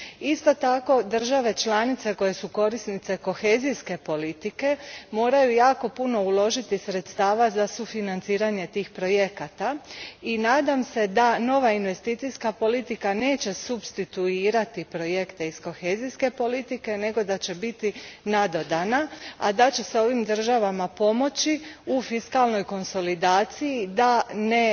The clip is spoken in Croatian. Isto tako, države članice koje su korisnice kohezijske politike moraju uložiti jako puno sredstava za sufinanciranje tih projekata i nadam se da nova investicijska politika neće supstituirati projekte iz kohezijske politike, nego da će biti nadodana, a da će se ovim državama pomoći u fiskalnoj konsolidaciji da ne